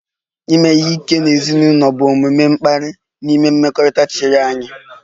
Ime ihe ike n'ezinụlọ bụ omume mkparị n'ime mmekọrịta chiri anya